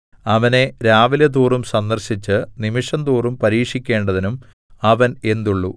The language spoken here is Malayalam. അവനെ രാവിലെതോറും സന്ദർശിച്ച് നിമിഷംതോറും പരീക്ഷിക്കേണ്ടതിനും അവൻ എന്തുള്ളു